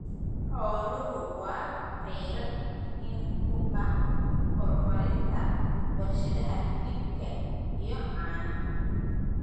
Xooluhu waa kheyraad muhiim u ah horumarinta warshadaha hilibka iyo caanaha.